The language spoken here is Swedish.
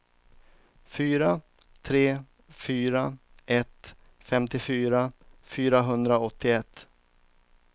fyra tre fyra ett femtiofyra fyrahundraåttioett